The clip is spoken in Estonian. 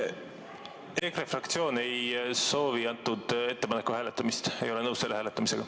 EKRE fraktsioon ei soovi selle ettepaneku hääletamist, me ei ole nõus selle hääletamisega.